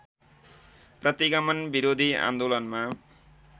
प्रतिगमन विरोधी आन्दोलनमा